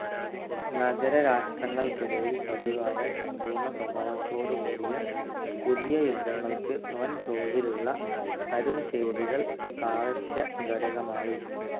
നഗരരാഷ്ട്രങ്ങൾക്കിടയിൽ പതിവായ സമ്പൂർണ്ണസ്വഭാവത്തോടു കൂടിയ പുതിയ യുദ്ധങ്ങൾക്ക് വൻതോതിലുള്ള അരുംചെയ്തികൾ അവശ്യഘടകമായി.